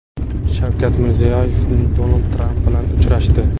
Shavkat Mirziyoyev Donald Tramp bilan uchrashdi.